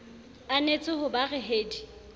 anetse ho ba re hedi